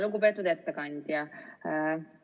Lugupeetud ettekandja!